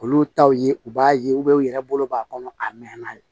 Olu taw ye u b'a ye u yɛrɛ bolo b'a kɔnɔ a mɛnna